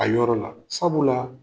A yɔrɔ la, sabula la